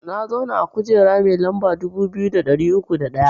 Na zauna a kujera mai lamba dubu biyu da ɗari uku da ɗaya